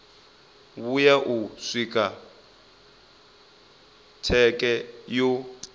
vhuya u swika tsheke yo